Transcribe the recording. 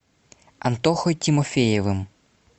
антохой тимофеевым